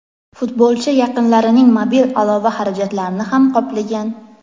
futbolchi yaqinlarining mobil aloqa xarajatlarini ham qoplagan.